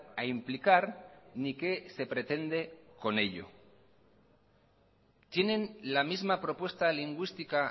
a implicar ni qué se pretende con ello tienen la misma propuesta lingüística